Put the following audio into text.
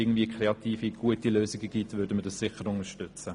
Wenn es kreative, gute Lösungen gäbe, würden wir diese sicher unterstützen.